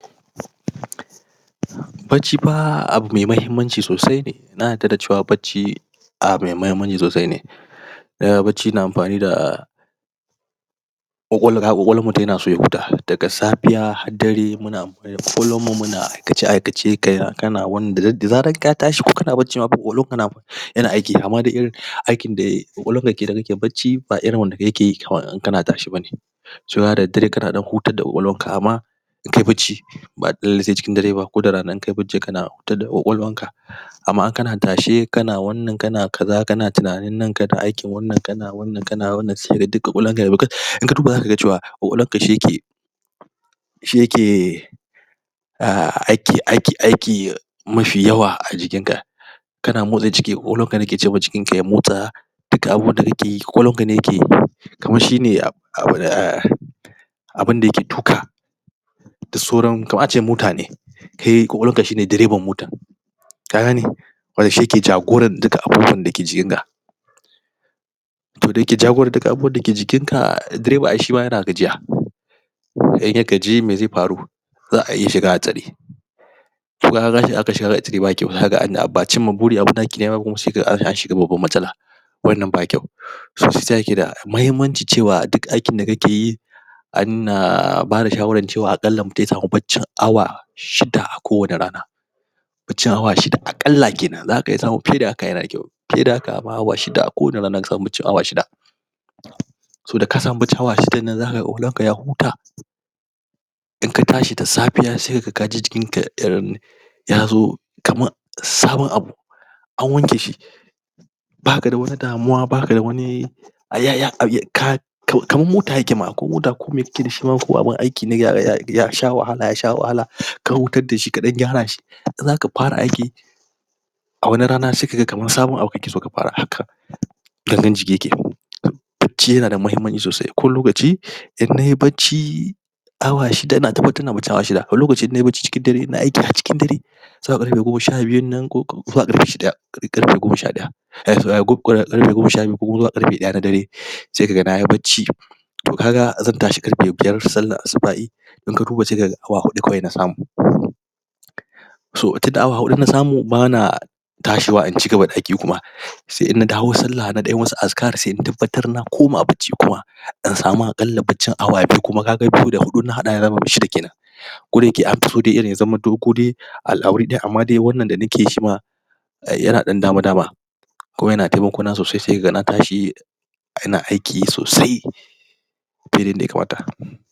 Bacci pa abu mai mahimmanci sosai ne Na yadda da cewa bacci, Abu mai mahimmanci sosai ne Umm bacci na amfani da kwakwalwar mutum yana soya huta daga safiya har dare muna Kullum mu muna Aikace aikace kaya kana wannan dade da zaranka tashi ko kana bacci ma kwakwalwarka na, Yana aiki amma dai aikin da.., Kwakwalwarka dakenan kake bacci ba irin wanda in kana tashe bane Cewa da daddare kana dan hutar da kwakwalwar ka In kayi bacci Ba dole sai cikin dare ba koda rana inkai bacci kana hutar da kwakwalwar ka Amma in kana tashe kana wannan kana kaza kana tunanin nan kana aikin wannan kana wannan kana wannan sai gaka duk kwakwalawar ka inka duba za kaga cewa kwkwalwar ka shiyake Shi yake Umm aiki, aiki aiki um Mafi yawa a jikin ka Kana motsa jiki kwakwalwar ka ya huta Dukka abunda kake yi kwakwalwar ka ne keyi Kamar shine Uhmm Abunda yake Duka Duk sauran kamar ace motane kAI kwakwalwar ka shine direban motar Ka gane? Wanda shi yake jagorar duka abubuwan da ke jikin ka To da yake jagorar dukan abunda ke jikin ka Direba ai shima yana gajiya saidai kaji me zai faru Za'a yishi Wannan ba kwau So saisa yake da mahimmanci cewa duk aikin da kakeyi Ana.......... Bada shawarar cewa akalla ya samu baccin awa Shida kwane rana Baccin awa shida akalla kenan saka iya samun fiye da haka yana da kwau Fiye da haka ma awa shida kowane rana inka samu, baccin awa shida So daka samu baccin awa shidan nan za kaga kwakwalwar kaya huta, Inka tashi da safiya sai kaga kaji jikin ka umm, Yazo Kaman Sabon abu An wanke shi Baka da wani damuwa baka da wani... To, to kaman mota yake ma ko mota kome kake dashi ko abun aiki ne ya, ya ya wahala yasha wahala Kai hutar dashi kadan gyara shi In zaka fara aiki A wani rana sai kaga kamar sabon abu kake so ka fara Shi yana da mahimmanci sosai kowa lokaci In nayi bacci Awa shida inata baten awa shida wani lokaci in nayi bacci cikin dare ina aiki har cikin dare Zuwa karfe koma sha biyun nan kokuma zuwa karfe shi daya karfe koma sha daya ko kuma karfe daya na dare Sai kaga nayi bacci To kaga zan tashi karfe biyar sallar asubah'i Inka duba sai kaga awa hudu kadai na samu So tunda awa hudu na samu bana, Tashiwa in cigaba da aiki ba Sai in na dawo sallah nadan yi wasu askar sai in tabbatar na koma bacci kuma Insamu akalla baccin awa biyu kuma kaga biyu da hudu in na hada yazama shida kenan Koda yake anso yazamanto kodai A a wuri daya amma dai wannan da nake shima Yana dan dama dama Kuma yana taimako na sosai sai kaga na tashi Ina aiki sosai Fiye da yadda ya kamata